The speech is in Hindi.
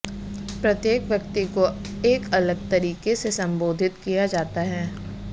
प्रत्येक व्यक्ति को एक अलग तरीके से संबोधित किया जाता है